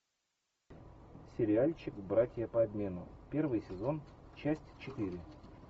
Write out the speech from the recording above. сериальчик братья по обмену первый сезон часть четыре